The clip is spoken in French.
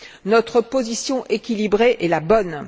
Notre position équilibrée est la bonne.